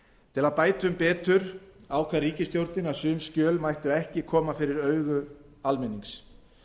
til að bæta um betur ákvað ríkisstjórnin að sum skjöl mættu ekki koma fyrir augu almennings